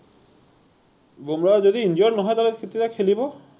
বুম্ৰাহ যদি injured নহয় তে হলে তেতিয়াহলে খেলিব